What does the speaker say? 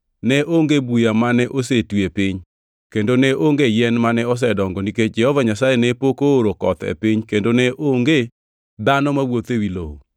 ne onge buya mane osetwi e piny kendo ne onge yien mane osedongo nikech Jehova Nyasaye ne pok ooro koth e piny kendo ne onge dhano mawuotho ewi lowo,